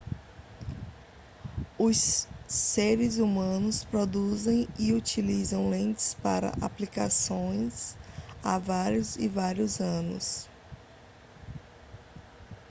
os seres humanos produzem e utilizam lentes para ampliação há vários e vários anos